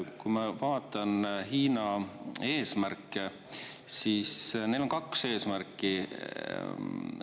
Kui ma vaatan Hiina eesmärke, siis neil on kaks eesmärki.